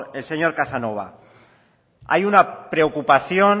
el señor casanova hay una preocupación